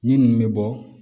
Minnu bɛ bɔ